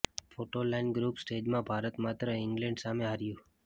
photo line group સ્ટેજમાં ભારત માત્ર England સામે હાર્યું